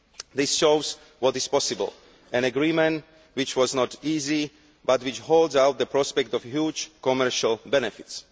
This shows what is possible an agreement which was not easy but which holds out the prospect of huge commercial benefits.